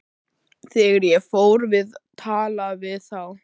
Þegar ég fór að tala við þá.